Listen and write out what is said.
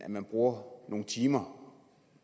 man bruger nogle timer